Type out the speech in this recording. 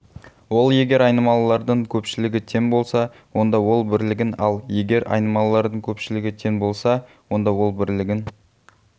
ол егер айнымалылардың көпшілігі тең болса онда ол бірлігін ал егер айнымалылардың көпшілігі тең болса онда ол бірлігін